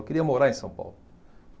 Eu queria morar em São Paulo.